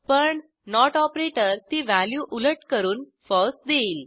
पण not operator ती value उलट करून फळसे देईल